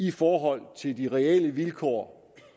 i forhold til de reelle vilkår